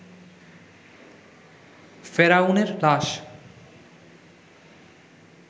ফেরাউন এর লাশ